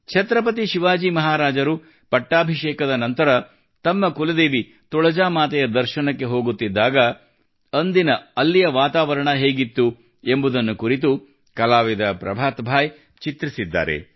ಛತ್ರಪತಿ ಶಿವಾಜಿ ಮಹಾರಾಜರು ಪಟ್ಟಾಭಿಷೇಕದ ನಂತರ ತಮ್ಮ ಕುಲದೇವಿ ತುಳಜಾ ಮಾತೆಯ ದರ್ಶನಕ್ಕೆ ಹೋಗುತ್ತಿದ್ದಾಗ ಅಂದಿನ ಅಲ್ಲಿಯ ವಾತಾವರಣ ಹೇಗಿತ್ತು ಎಂಬುದನ್ನು ಕುರಿತು ಕಲಾವಿದ ಪ್ರಭಾತ್ ಭಾಯಿ ಚಿತ್ರಿಸಿದ್ದಾರೆ